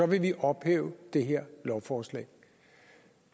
vi ophæve det her lovforslag